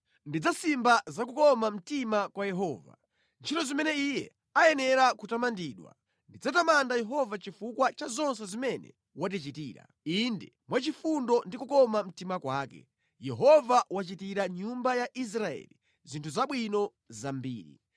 Ndidzafotokoza za kukoma mtima kwa Yehova, ntchito zimene Iye ayenera kutamandidwa. Ndidzatamanda Yehova chifukwa cha zonse zimene watichitira. Inde, mwa chifundo ndi kukoma mtima kwake Yehova wachitira nyumba ya Israeli zinthu zabwino zambiri.